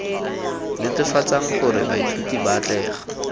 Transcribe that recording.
netefatsang gore baithuti ba atlega